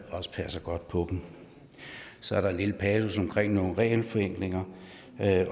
også passer godt på dem så er der en lille passus omkring nogle regelforenklinger